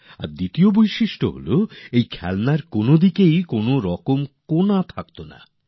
আরেক কথা হচ্ছে এগুলির কোনভাবে কোনরকম অ্যাঙ্গেল বা কোণ থাকত না